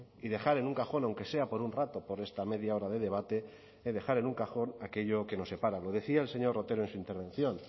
y dejar en un cajón aunque sea por un rato por esta media hora de debate de dejar en un cajón aquello que nos separa lo decía el señor otero en su intervención